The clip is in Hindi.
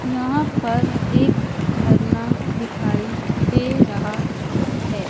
यहां पर एक झरना दिखाई दे रहा है।